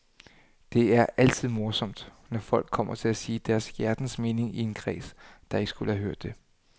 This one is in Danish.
Det er altid morsomt, når folk kommer til at sige deres hjertens mening i en kreds, der ikke skulle have hørt det.